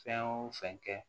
Fɛn o fɛn kɛ